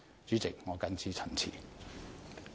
主席，我謹此陳辭。